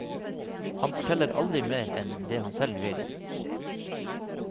Han forteller aldri mer enn det han selv vil.